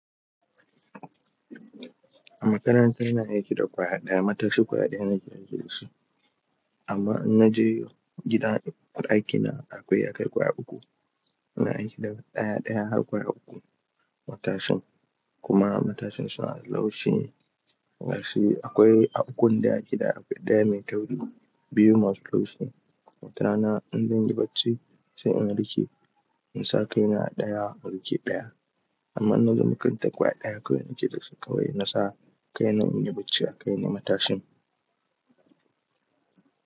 A makaranta ina aiki da ƙwa yaɗaya, matashi ƙwaya ɗaya nake da shi. Amma idan na je gidan aikin na akwai ya kai ƙwaya uku. Ina aiki da ɗai-ɗai har ƙwaya uku matashin. Kuma matashin suna da laushi. Nasu akwai a gun da ake da ɗaya mai tauru biyu masu laushi. Mutanen in zan yi bacci sai in haɗu ke. In sa kai na ɗaya, haɗu ke ɗaya. Amma in nazo makaranta ƙwaya ɗaya kawai nake da shi kawai in nasa kai na in yi bacci a kan matashin.